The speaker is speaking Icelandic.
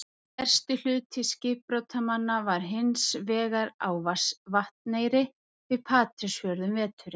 Stærsti hluti skipbrotsmanna var hins vegar á Vatneyri við Patreksfjörð um veturinn.